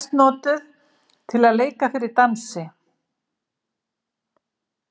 Hún var helst notuð til að leika fyrir dansi.